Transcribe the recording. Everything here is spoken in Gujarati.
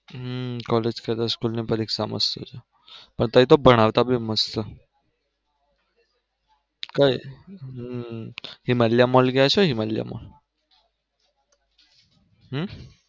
હમ college કરતા school પરીક્ષા મસ્ત છે અત્યરે તો ભણાવતા બી મસ્ત કઈ હિમાલીયા મોલ ગયા છો હિમાલીયા મોલ?